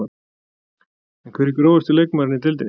En hver er grófasti leikmaðurinn í deildinni?